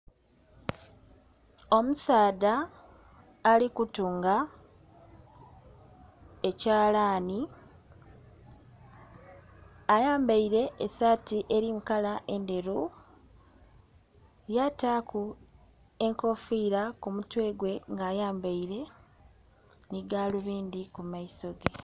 Omusaadha ali kutunga ekyalani ayambaire esaati eri mukala endheru yataku enkofira kumutwe gwe nga ayambaire n'egalubindhi kumaiso ge.